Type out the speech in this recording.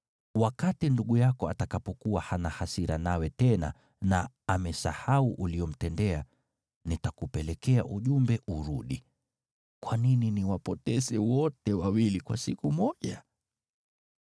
Wakati ndugu yako atakapokuwa hana hasira nawe tena na amesahau uliyomtendea, nitakupelekea ujumbe urudi. Kwa nini niwapoteze wote wawili kwa siku moja?”